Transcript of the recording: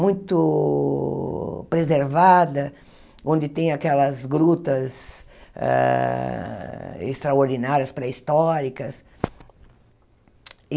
muito preservada, onde tem aquelas grutas ah extraordinárias, pré-históricas.